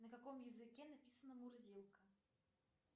на каком языке написана мурзилка